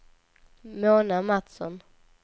Mona Mattsson